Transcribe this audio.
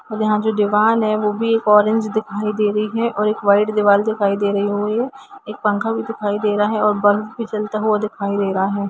यहां जो दिवाल है वो भी ऑरेंज दिखाई दे रही है एक वाइट दिखाई दे रही है एक पंखा भी दिखाई दे रहा है और बल्ब भी जलता हुआ दिखाई दे रहा है।